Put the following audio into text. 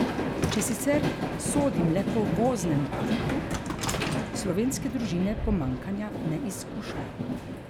Če sicer sodim le po voznem parku, slovenske družine pomanjkanja ne izkušajo.